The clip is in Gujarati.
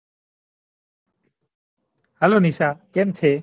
hello નિશા કેમ છે